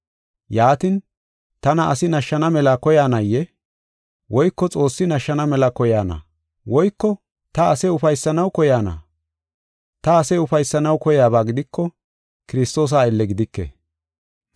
Yaatin, tana asi nashshana mela koyaanayee? Woyko Xoossi nashshana mela koyayna? Woyko ta ase ufaysanaw koyayna? Ta ase ufaysanaw koyaba gidiko, Kiristoosa aylle gidike.